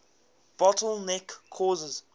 bottle neck cases